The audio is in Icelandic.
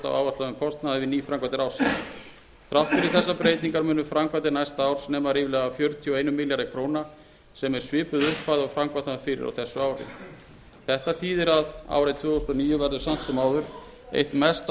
áætluðum kostnaði við nýframkvæmdir ársins þrátt fyrir þessar breytingar munu framkvæmdir næsta árs nema ríflega fjörutíu og einum milljarði króna sem er svipuð upphæð og framkvæmt var fyrir á þessu ári þetta þýðir að árið tvö þúsund og níu verður samt sem áður eitt mesta